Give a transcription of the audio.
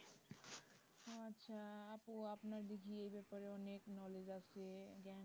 ওহ আচ্ছা আপু আপনার দেখি এই ব্যাপারে অনেক knowledge আছে জ্ঞান